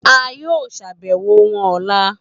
A yoo ṣabẹwo wọn ọla.